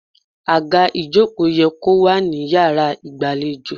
Àga ìjókòó ye kó wà ní yàrá ìgbàlejò.